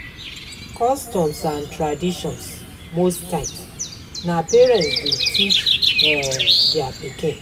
Customs and traditions most times na parents dey teach um their pikin